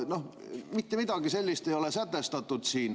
Mitte midagi sellist ei ole sätestatud siin.